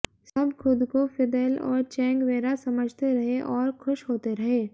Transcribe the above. सब खुद को फिदेल और चेग्वेरा समझते रहे और खुश होते रहे